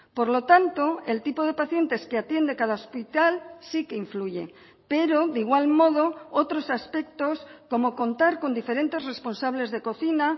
por lo tanto el tipo de pacientes que atiende cada hospital sí que influye pero de igual modo otros aspectos como contar con diferentes responsables de cocina